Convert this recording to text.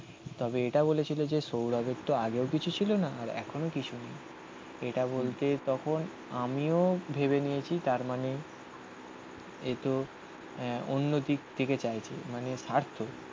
তবে এটা বলেছিল যে সৌরভের তো আগেও কিছু ছিল না. আর এখনও কিছু নেই. এটা বলতে তখন আমিও ভেবে নিয়েছি তার মানে এই তো আ অন্য দিক থেকে চাইছে. মানে সার্থ